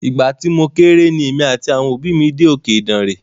Ìgbà tí mo kéré ni èmi àti àwọn òbí mí dé òkè Ìdànre.